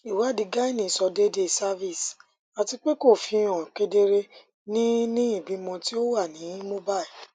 iwadi gyne sọ deede cervix atipe ko fihan kedere ni ni ibimọ ti o wa ni mobile